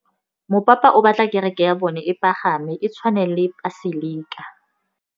Mopapa o batla kereke ya bone e pagame, e tshwane le paselika.